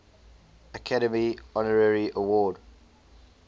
academy honorary award